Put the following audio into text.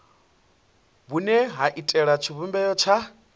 vhune ha iitela tshivhumbeo tsha